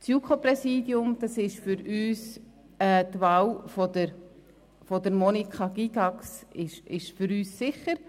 Für uns ist das JuKo-Präsidium mit der Wahl von Monika Gygax sicher.